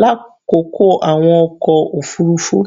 lakoko awọn ọkọ ofurufu